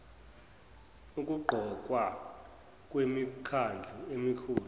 ukuqokwa kwemikhandlu emikhulu